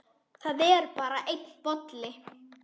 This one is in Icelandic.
Það er bara einn bolli!